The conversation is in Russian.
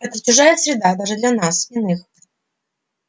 это чужая среда даже для нас иных